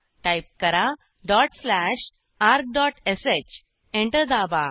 type करा dot slash argश enter दाबा